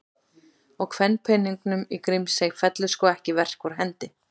Og kvenpeningnum í Grímsey fellur sko ekki verk úr hendi.